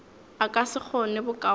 a ka se kgone bokaone